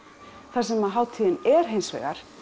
það sem hátíðin er hins vegar